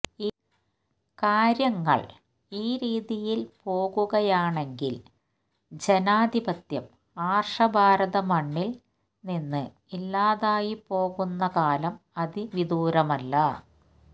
കാര്യങ്ങള് ഈ രീതിയില് പോകുകയാണെങ്കില് ജനാധിപത്യം ആര്ഷ ഭാരത മണ്ണില് നിന്ന് ഇല്ലാതായി പോകുന്ന കാലം അതിവിദൂരമല്ല